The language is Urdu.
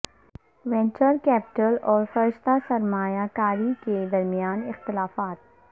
وینچر کیپٹل اور فرشتہ سرمایہ کاری کے درمیان اختلافات